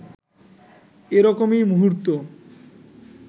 এরকমই মুহূর্ত